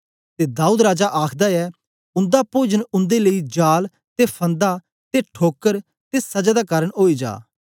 ते दाऊद राजा आखदा ऐ उन्दा पोजन उन्दे लेई जाल ते फन्दा ते ठोकर ते सजा दा कारन ओई जा